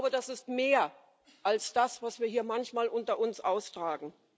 Das ist mehr als das, was wir hier manchmal unter uns austragen.